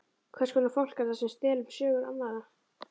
Hvers konar fólk er það sem stelur sögum annarra?